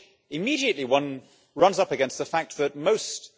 Of course, immediately one runs up against the fact that most